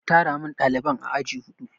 A tara min ɗaliban aji huɗu!